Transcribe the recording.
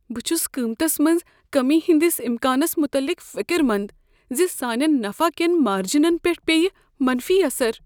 بہٕ چھس قیمتس منٛز کمی ہندس امکانس متعلق فکر مند زِ سانین نفع کین مارجینن پیٹھ پییہ منفی اثر ۔